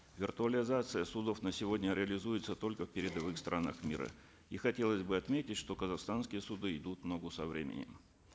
виртуализация судов на сегодня реализуется только в передовых странах мира и хотелось бы отметить что казахстанские суды идут в ногу со временем